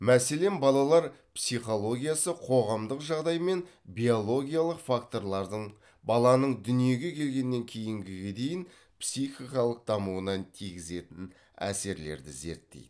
мәселен балалар психологиясы қоғамдық жағдай мен биологиялық факторлардың баланың дүниеге келгеннен кейінге дейін психикалық дамуына тигізетін әсерлерді зерттейді